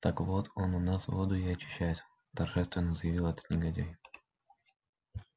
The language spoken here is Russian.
так вот он у нас воду и очищает торжественно заявил этот негодяй